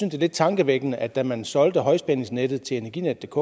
er lidt tankevækkende at da man solgte højspændingsnettet til energinetdk